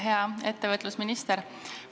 Hea ettevõtlusminister!